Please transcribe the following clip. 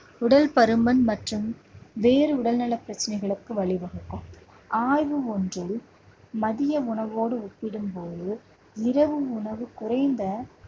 உடல் பருமன் மற்றும் வேறு உடல் நல பிரச்சனைகளுக்கு வழி வகுக்கும். ஆய்வு ஒன்றில் மதிய உணவோடு ஒப்பிடும் போது, இரவு உணவு குறைந்த